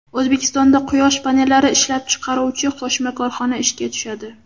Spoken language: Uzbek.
O‘zbekistonda quyosh panellari ishlab chiqaruvchi qo‘shma korxona ishga tushadi.